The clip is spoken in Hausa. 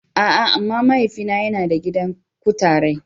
A'a! amma mahaifina yana da gidan kutarai.